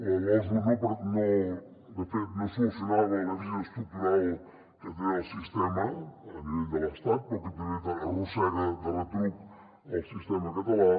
la losu de fet no solucionava el dèficit estructural que té el sistema a nivell de l’estat però que també arrossega de retruc el sistema català